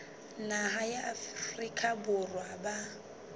naha ya afrika borwa ba